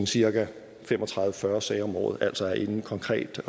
cirka fem og tredive til fyrre sager om året altså er inde konkret og